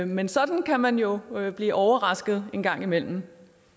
men sådan kan man jo blive overrasket en gang imellem